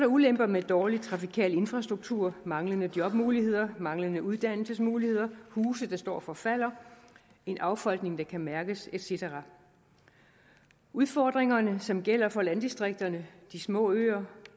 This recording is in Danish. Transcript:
ulemper med dårlig trafikal infrastruktur manglende jobmuligheder manglende uddannelsesmuligheder huse der står og forfalder en affolkning der kan mærkes et cetera udfordringerne som gælder for landdistrikterne de små øer